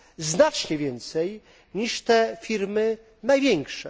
Znacznie więcej niż te firmy największe.